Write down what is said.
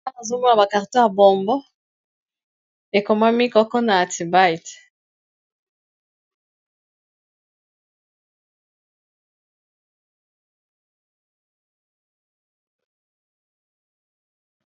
Awa nazomona bakarto ya bombo ekoma mikoko na atibite